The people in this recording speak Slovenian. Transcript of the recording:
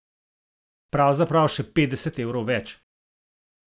Pravzaprav še petdeset evrov več.